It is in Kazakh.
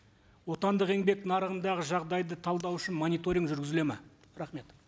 отандық еңбек нарығындағы жағдайды талдау үшін мониторинг жүргізіледі ме рахмет